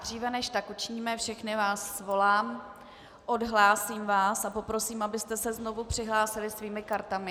Dříve než tak učiníme, všechny vás svolám, odhlásím vás a poprosím, abyste se znovu přihlásili svými kartami.